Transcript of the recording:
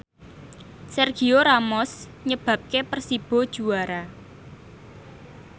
Sergio Ramos nyebabke Persibo juara